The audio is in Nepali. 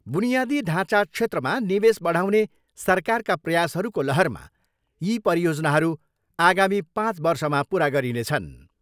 बुनियादी ढाँचा क्षेत्रमा निवेश बढाउने सरकारका प्रयासहरूको लहरमा यी परियोजनाहरू आगामी पाँच वर्षमा पुरा गरिनेछन्।